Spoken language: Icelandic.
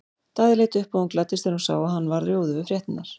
Daði leit upp og hún gladdist þegar hún sá að hann varð rjóður við fréttirnar.